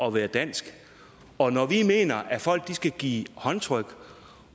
at være dansk og når vi mener at folk skal give håndtryk